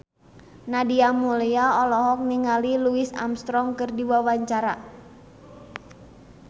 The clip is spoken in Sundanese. Nadia Mulya olohok ningali Louis Armstrong keur diwawancara